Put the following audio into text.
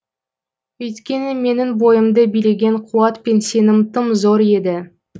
өйткені менің бойымды билеген қуат пен сенім тым зор еді